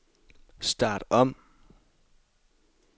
start om